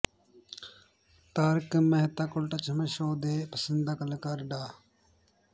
Tarak Mehta Ka Ooltah Chashmah show ਦੇ ਪਸੰਦੀਦਾ ਕਲਾਕਾਰ ਡਾ